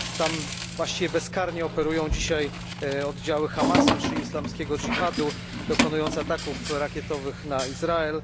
Tam właściwie bezkarnie operują dzisiaj odziały Hamasu czy Islamskiego Dżihadu, dokonując ataków rakietowych na Izrael.